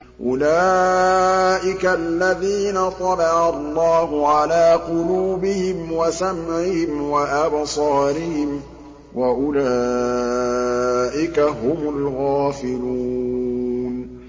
أُولَٰئِكَ الَّذِينَ طَبَعَ اللَّهُ عَلَىٰ قُلُوبِهِمْ وَسَمْعِهِمْ وَأَبْصَارِهِمْ ۖ وَأُولَٰئِكَ هُمُ الْغَافِلُونَ